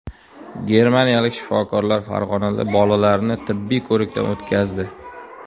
Germaniyalik shifokorlar Farg‘onada bolalarni tibbiy ko‘rikdan o‘tkazdi.